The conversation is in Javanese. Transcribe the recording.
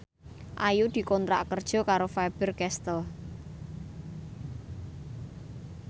Ayu dikontrak kerja karo Faber Castel